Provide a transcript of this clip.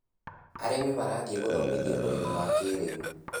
Arĩmi marathĩi gũthomithio ũrĩmi wa kĩrĩu.